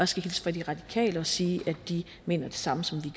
skal hilse fra de radikale og sige at de mener det samme som vi